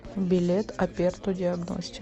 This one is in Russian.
билет аперто диагностик